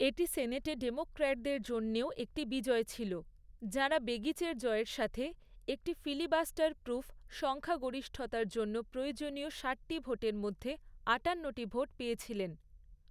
এটি সেনেটে ডেমোক্র্যাটদের জন্যেও একটি বিজয় ছিল, যাঁরা বেগিচের জয়ের সাথে, একটি ফিলিবাস্টার প্রুফ সংখ্যাগরিষ্ঠতার জন্য প্রয়োজনীয় ষাটটি ভোটের মধ্যে আটান্নটি ভোট পেয়েছিলেন।